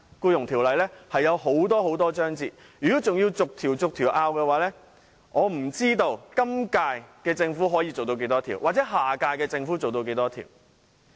《僱傭條例》有很多章節，如果要逐項爭拗，我不知今屆政府可以處理多少項，下屆政府又可以處理多少項。